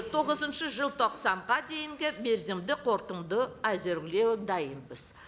тоғызыншы желтоқсанға дейінгі мерзімде қорытынды әзірлеу дайынбыз